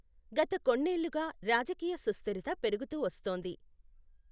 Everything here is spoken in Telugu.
గత కొన్నేళ్లుగా రాజకీయ సుస్థిరత పెరుగుతూ వస్తోంది.